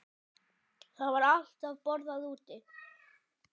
Það var alltaf borðað úti.